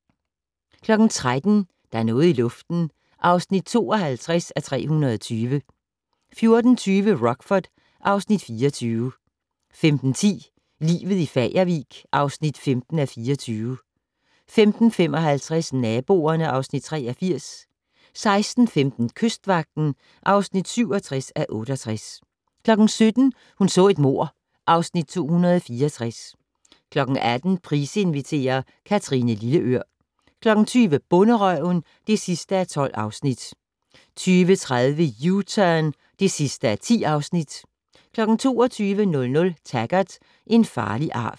13:00: Der er noget i luften (52:320) 14:20: Rockford (Afs. 24) 15:10: Livet i Fagervik (15:24) 15:55: Naboerne (Afs. 83) 16:15: Kystvagten (67:68) 17:00: Hun så et mord (Afs. 264) 18:00: Price inviterer - Kathrine Lilleør 20:00: Bonderøven (12:12) 20:30: U-Turn (10:10) 22:00: Taggart: En farlig arv